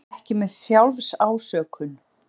Vera ekki með SJÁLFSÁSÖKUN